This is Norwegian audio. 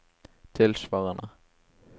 tilsvarende